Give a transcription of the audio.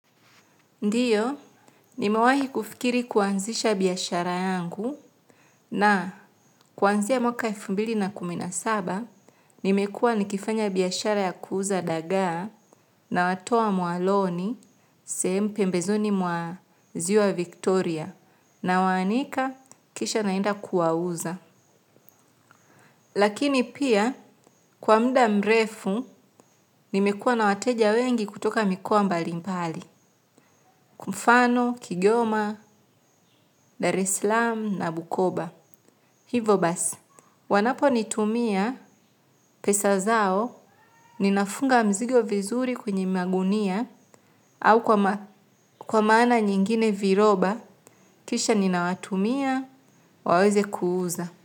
Ndiyo, nimewahi kufikiri kuanzisha biashara yangu na kuanzia mwaka elfu mbili na kumi na saba, nimekua nikifanya biashara ya kuuza dagaa nawatoa mwaloni sehemu pembezoni mwa ziwa Victoria nawaanika kisha naenda kuwauza. Lakini pia, kwa muda mrefu, nimekua na wateja wengi kutoka mikoa mbali mbali. Kwa mfano, kigoma, darislam na bukoba. Hivo basi. Wanapo nitumia pesa zao, ninafunga mzigo vizuri kwenye magunia, au kwa maana nyingine viroba, kisha ninawatumia, waweze kuuza.